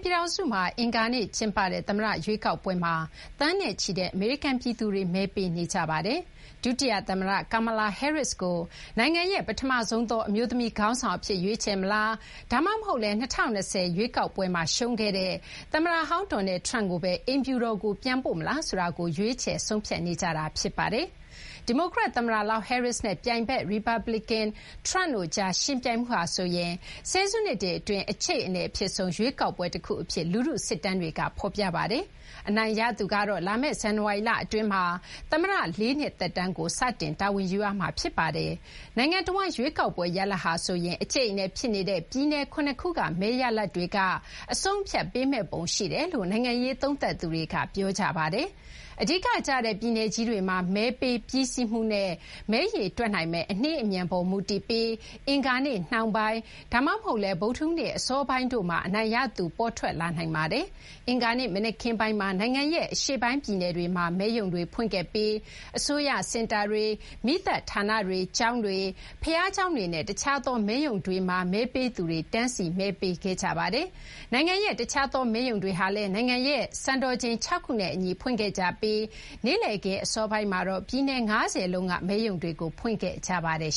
ပြည်ထောင်စုမှာ အင်္ဂါနေ့ ကျင်းပတဲ့ သမ္မတ ရွေးကောက်ပွဲမှာတော့ သန်းနဲ့ချီတဲ့ အမေရိကန် ပြည်သူတွေ မဲပေးကြပါတယ်။ ဒုတိယ သမ္မတ Kamala Harris ကို နိုင်ငံရဲ့ ပထမဆုံးသော အမျိုးသမီး ခေါင်းဆောင် အဖြစ် ရွေးချယ်မလား ဒါမှမဟုတ်လည်း ၂၀၂၀ ရွေးကောက်ပွဲမှာ ရှုံးခဲ့တဲ့ သမ္မတဟောင်း Donald Trump ကိုဘဲ အိမ်ဖြူတော်ကို ပြန်ပို့မလားဆိုတာကို ရွေးချယ် ဆုံးဖြတ်နေကြတာ ဖြစ်ပါတယ်။ ဒီမိုကရက် သမ္မတလောင်း Harris နဲ့ ရီပတ်ပလီကန် ပြိုင်ဘက် Trump တို့ကြား ယှဉ်ပြိုင်မှုဟာဆိုရင် ဆယ်စုနှစ်တွေ အတွင်း အကြိအနယ် အဖြစ်ဆုံး ရွေးကောက်ပွဲ တခု အဖြစ် လူထု စစ်တမ်းတွေက ဖော်ပြပါတယ်။ အနိုင်ရသူကတော့ လာမယ့် ဇန်နဝါရီလ အတွင်းမှာ သမ္မတ ၄ နှစ် သက်တမ်းကို စတင် တာဝန်ယူရမှာ ဖြစ်ပါတယ်။ နိုင်ငံတဝန်း ရွေးကောက်ပွဲ ရလဒ်ဟာဆိုရင် အကြိတ်အနယ် ဖြစ်နေတဲ့ ပြည်နယ် ၇ ခုက မဲရလဒ်တွေက အဆုံးအဖြတ် ပေးမယ့်ပုံ ရှိတယ်လို့ နိုင်ငံရေး သုံးသပ်သူတွေက ပြောကြပါတယ်။ အဓိက ကျတဲ့ ပြည်နယ်ကြီးတွေမှာ မဲပေးပြီးစီးမှုနဲ့ မဲရေတွက်နိုင်မယ့် အနှေးအမြန်ပေါ် မူတည်ပြီး အင်္ဂါနေ့ နှောင်းပိုင်း ဒါမှမဟုတ်လည်း ဗုဒ္ဓဟူးနေ့ အစောပိုင်းတို့မှာ အနိုင်ရသူ ပေါ်ထွက်လာနိုင်ပါတယ်။ အင်္ဂါနေ့ မနက်ခင်းပိုင်းမှာ နိုင်ငံရဲ့ အရှေ့ပိုင်း ပြည်နယ်တွေမှာ မဲရုံတွေ ဖွင့်ခဲ့ပြီး အစိုးရ စင်တာတွေ၊ မီးသတ်ဌာနတွေ၊ ကျောင်းတွေ၊ ဘုရားကျောင်းတွေနဲ့ တခြားသော မဲရုံတွေမှာ မဲပေးသူတွေ တန်းစီ မဲပေးခဲ့ကြပါတယ်။ နိုင်ငံရဲ့ တခြားသော မဲရုံတွေဟာလည်း နိုင်ငံရဲ့ စံတော်ချိန် ၆ ခုနဲ့ အညီ ဖွင့်ခဲ့ကြပြီး နေ့လည်ခင်း အစောပိုင်းမှာတော့ ပြည်နယ် ၅၀ လုံးက မဲရုံတွေကို ဖွင့်ခဲ့ကြပါတယ်